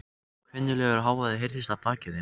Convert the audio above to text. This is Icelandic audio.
Kunnuglegur hávaði heyrðist að baki þeim.